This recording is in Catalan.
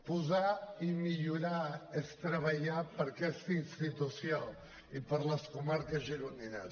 posar i millorar és treballar per aquesta institució i per les comarques gironines